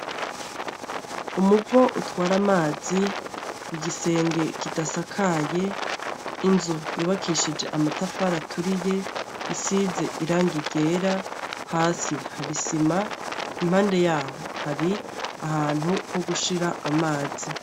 Umuvo utwara amazi, igisenge kidasakaye, inzu yubakishije amatafari aturiye isize irangi ryera hasi hari isima impande yaho hari ahantu ho gushira amazi.